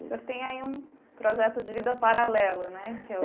O senhor tem aí um projeto de vida paralelo, né? Que é o